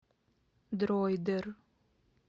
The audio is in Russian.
дроидер